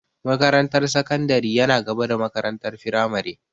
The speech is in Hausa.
Makarantar sakandari yana gaba da makarantar firamare.